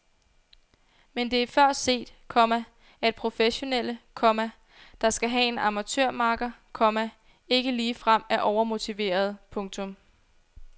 Men det er før set, komma at professionelle, komma der skal have en amatørmakker, komma ikke ligefrem er overmotiverede. punktum